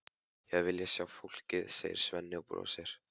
Ég hefði viljað sjá fólkið, segir Svenni og brosir.